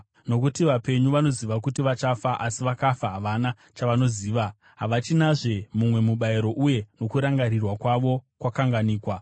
Nokuti vapenyu vanoziva kuti vachafa, asi vakafa havana chavanoziva; havachinazve mumwe mubayiro, uye nokurangarirwa kwavo kwakanganikwa.